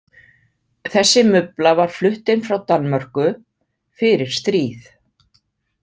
Þessi mubla var flutt inn frá Danmörku, fyrir stríð